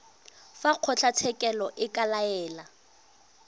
fa kgotlatshekelo e ka laela